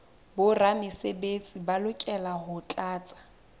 boramesebetsi ba lokela ho tlatsa